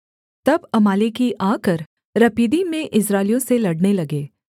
तब अमालेकी आकर रपीदीम में इस्राएलियों से लड़ने लगे